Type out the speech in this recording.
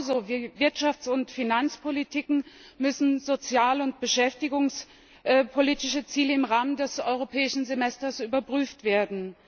Genauso wie Wirtschafts und Finanzpolitiken müssen sozial und beschäftigungspolitische Ziele im Rahmen des Europäischen Semesters überprüft werden.